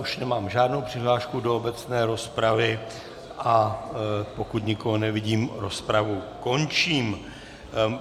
Už nemám žádnou přihlášku do obecné rozpravy, a pokud nikoho nevidím, rozpravu končím.